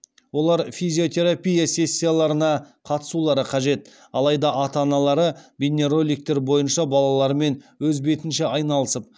олар физиотерапия сессияларына қатысулары қажет алайда ата аналары бейнероликтер бойынша балаларымен өз бетінше айналысып